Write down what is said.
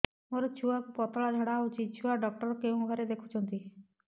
ମୋର ଛୁଆକୁ ପତଳା ଝାଡ଼ା ହେଉଛି ଛୁଆ ଡକ୍ଟର କେଉଁ ଘରେ ଦେଖୁଛନ୍ତି